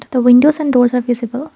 the windows and doors are visible.